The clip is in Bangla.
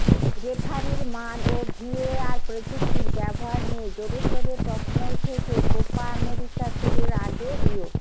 রেফারির মান ও ভিএআর প্রযুক্তির ব্যবহার নিয়ে জোরেশোরে প্রশ্ন উঠেছে কোপা আমেরিকা শুরুর আগে রিও